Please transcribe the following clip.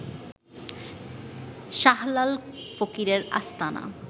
শাহলাল ফকিরের আস্তানার